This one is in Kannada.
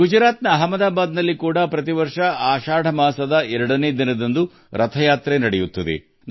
ಗುಜರಾತ್ನ ಅಹಮದಾಬಾದ್ನಲ್ಲಿಯೂ ಪ್ರತಿ ವರ್ಷ ರಥಯಾತ್ರೆಯು ಆಷಾಢ ದ್ವಿತೀಯದಿಂದ ಪ್ರಾರಂಭವಾಗುತ್ತದೆ